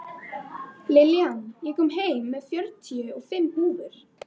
Norðlæg átt og snjókoma